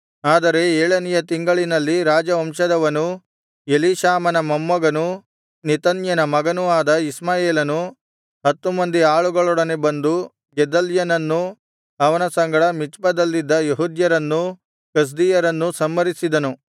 ಆದರೆ ಏಳನೆಯ ತಿಂಗಳಿನಲ್ಲಿ ರಾಜವಂಶದವನೂ ಎಲೀಷಾಮನ ಮೊಮ್ಮಗನೂ ನೆತನ್ಯನ ಮಗನೂ ಆದ ಇಷ್ಮಾಯೇಲನು ಹತ್ತು ಮಂದಿ ಆಳುಗಳೊಡನೆ ಬಂದು ಗೆದಲ್ಯನನ್ನೂ ಅವನ ಸಂಗಡ ಮಿಚ್ಪದಲ್ಲಿದ್ದ ಯೆಹೂದ್ಯರನ್ನೂ ಕಸ್ದೀಯರನ್ನೂ ಸಂಹರಿಸಿದನು